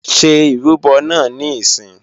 Ṣé ìrúbọ náà níìsín!